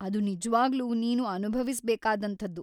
ಅದು ನಿಜ್ವಾಗ್ಲೂ ನೀನು ಅನುಭವಿಸ್ಬೇಕಾದಂಥದ್ದು.